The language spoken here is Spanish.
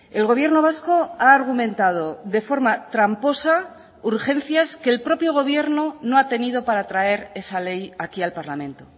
el gobierno vasco ha argumentado de forma tramposa urgencias que el propio gobierno no ha tenido para traer esa ley aquí al parlamento